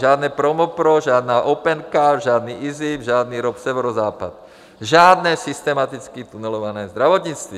Žádné Promopro, žádná Opencard, žádný IZIP, žádný ROP Severozápad, žádné systematicky tunelované zdravotnictví.